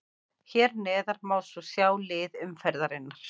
Hér neðar má svo sjá lið umferðarinnar.